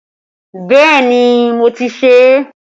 Bẹẹ ni, mo ti ṣe é